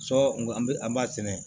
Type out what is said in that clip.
Sɔ an be an b'a sɛnɛ